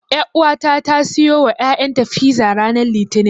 Ƴauwata ta siyo wa ƴaƴanta fiza ranar Litinin.